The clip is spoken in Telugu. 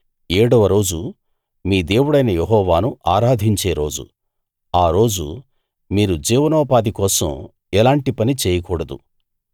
ఏడవరోజు మీ దేవుడైన యెహోవాను ఆరాధించే రోజు ఆ రోజు మీరు జీవనోపాధి కోసం ఎలాంటి పనీ చేయకూడదు